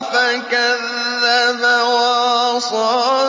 فَكَذَّبَ وَعَصَىٰ